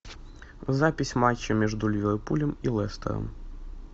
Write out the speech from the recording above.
запись матча между ливерпулем и лестером